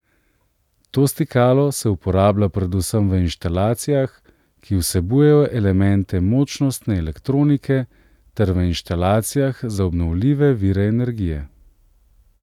To stikalo se uporablja predvsem v inštalacijah, ki vsebujejo elemente močnostne elektronike ter v inštalacijah za obnovljive vire energije.